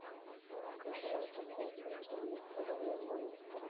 покажи нам трансляцию между ливерпулем и лестером